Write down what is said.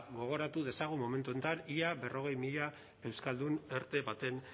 gogoratu dezagun momentu honetan ia berrogei mila euskaldun erte baten